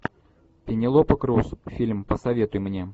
пенелопа круз фильм посоветуй мне